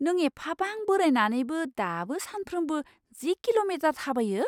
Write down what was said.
नों एफाबां बोरायनानैबो दाबो सानफ्रोमबो जि किल'मिटार थाबायो?